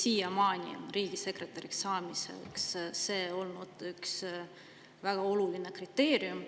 Siiamaani on see olnud üks väga oluline riigisekretäriks saamise kriteerium.